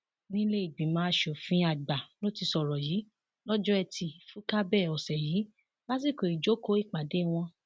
nílé ìgbìmọ asòfin àgbà ló ti sọrọ yìí lọjọ etí furcabee ọsẹ yìí lásìkò ìjókòó ìpàdé wọn